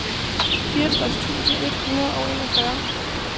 fireogtres tusind et hundrede og enogfyrre